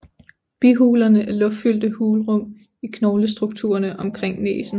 Bihulerne er luftfyldte hulrum i knoglestrukturerne omkring næsen